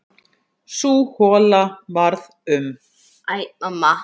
Sú hola varð um